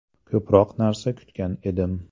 Ko‘proq narsa kutgan edim.